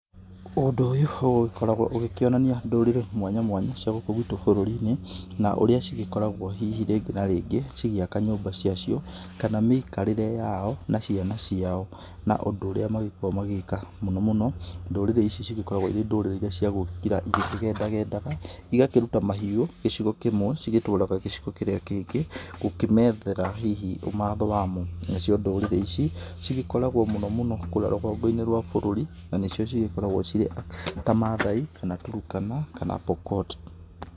Ũndũ ũyũ ũgĩkoragwo ũgĩkĩonania ndũrĩrĩ mwanya mwanya cia gũkũ gwitũ bũrũri-inĩ na ũrĩa cigĩkoragwo hihi rĩngĩ na rĩngĩ cigĩaka nyũmba ciacio, kana mĩikarĩre yao na ciana ciao, na ũndũ ũrĩa magĩkoragwo magĩka, mũno mũno ndũrĩrĩ ici cigĩkoragwo iria cia gũgĩkira igĩkĩgendagendaga, igakĩruta mahiũ gĩcigo kĩmwe cigagĩtwara gcigo kĩngĩ gũkĩmethera hihi ũmatho wamo, nacio ndũrĩrĩ ici cigĩkoragwo mũno mũno kũrĩa rũgongo-inĩ rwa bũrũri na nĩcio cigĩkoragwo cirĩ ta maathai kana Turkana kana Pokot